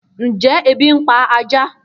Njẹ ebi npa ajá?